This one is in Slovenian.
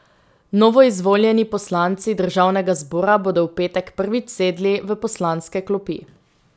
Novoizvoljeni poslanci državnega zbora bodo v petek prvič sedli v poslanske klopi.